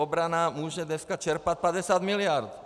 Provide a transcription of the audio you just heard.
Obrana může dneska čerpat 50 miliard.